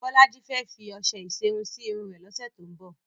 Bọ́lájí fẹ́ fi ọṣẹ ìṣerun sí irun rẹ̀ lọ́sẹ̀ tó ń bọ̀.